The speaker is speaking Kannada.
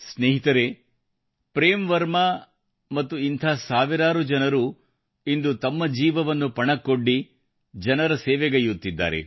ಸ್ನೇಹಿತರೆ ಪ್ರೇಮ್ ವರ್ಮಾ ಅವರು ಮತ್ತು ಇಂಥ ಸಾವಿರಾರು ಜನರು ಇಂದು ತಮ್ಮ ಜೀವವನ್ನು ಪಣಕ್ಕೊಡ್ಡಿ ಜನರ ಸೇವೆಗೈಯ್ಯುತ್ತಿದ್ದಾರೆ